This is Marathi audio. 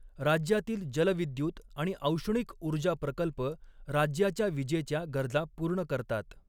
राज्यातील जलविद्युत आणि औष्णिक ऊर्जा प्रकल्प राज्याच्या विजेच्या गरजा पूर्ण करतात.